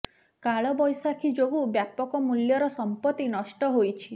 କାଳ ବୈଶାଖୀ ଯୋଗୁଁ ବ୍ୟାପକ ମୂଲ୍ୟର ସମ୍ପତ୍ତି ନଷ୍ଠ ହୋଇଛି